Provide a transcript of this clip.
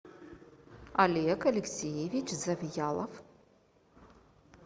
олег алексеевич завьялов